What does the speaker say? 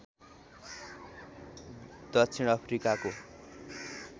दक्षिण अफ्रिकाको